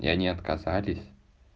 и они отказались